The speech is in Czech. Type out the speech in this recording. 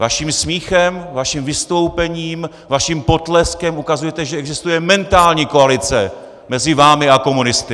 Vaším smíchem, vaším vystoupením, vaším potleskem ukazujete, že existuje mentální koalice mezi vámi a komunisty!